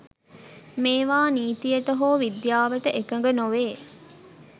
මේවා නිතියට හෝ විද්‍යාවට එකග නොවේ